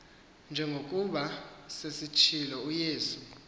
njengokuba sesitshilo uyesu